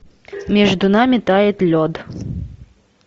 между нами тает лед